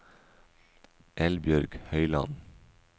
Eldbjørg Høyland